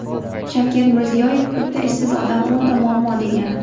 Shavkat Mirziyoyev: Bitta ishsiz odam o‘nta muammo degani.